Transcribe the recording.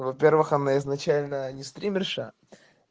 во-первых она изначально не стримерша